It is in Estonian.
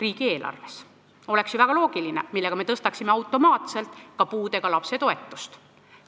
See oleks ju väga loogiline, me tõstaksime siis automaatselt ka puudega lapse toetust.